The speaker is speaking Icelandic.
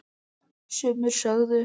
Sumir sögðu